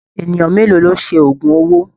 Ènìyàn mélòó ló ṣe oògùn owó?